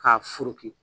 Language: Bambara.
K'a furuki